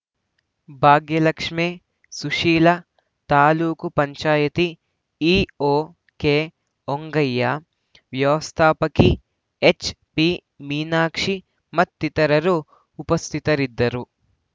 Bhagyalakshmi Sushila taluk panchayat EO ಕೆಹೊಂಗಯ್ಯ ವ್ಯವಸ್ಥಾಪಕಿ HP Meenakshi ಮತ್ತಿತರರು ಉಪಸ್ಥಿತರಿದ್ದರು